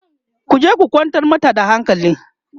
ku je ku kwantar mata da hankali!